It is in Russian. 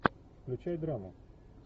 включай драму